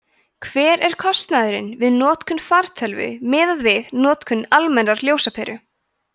hver er kostnaðurinn við notkun fartölvu miðað við notkun almennrar ljósaperu